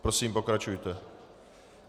Prosím, pokračujte.